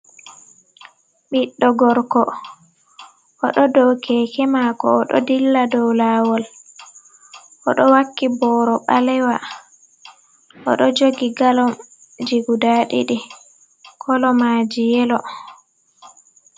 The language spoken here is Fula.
Ɓiddo gorko oɗo dokekemako oɗo dilla dow lawol oɗo waki boro balewa oɗo jogi galom ji guda ɗiɗi kolomaji yelo.